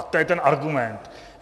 A to je ten argument.